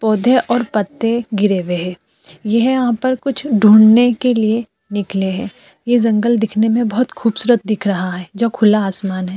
पौधे और पत्ते गिरे हुए हैं। यह यहाँ पर कुछ ढूंढ़ने के लिए निकले है। यह जंगल दिखने में बहोत खूबसूरत दिख रहा है जो खुला आसमान है।